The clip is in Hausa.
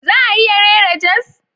Za a iya rera jazz?